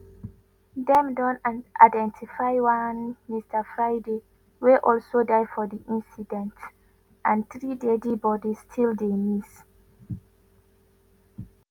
dem don identify one mr friday wey also die for di incident and three deadi bodies still dey miss.